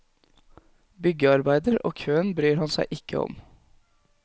Byggearbeider og køer bryr han seg ikke om.